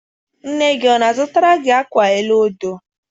Nne gị ọ na-azụtara gị akwa elu odo?